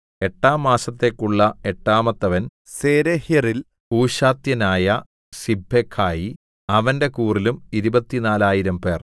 എട്ടാം മാസത്തേക്കുള്ള എട്ടാമത്തവൻ സേരെഹ്യരിൽ ഹൂശാത്യനായ സിബ്ബെഖായി അവന്റെ കൂറിലും ഇരുപത്തിനാലായിരംപേർ 24000